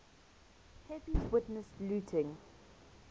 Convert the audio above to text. pepys witnessed looting